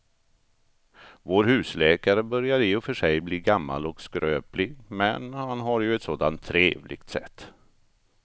Vår husläkare börjar i och för sig bli gammal och skröplig, men han har ju ett sådant trevligt sätt!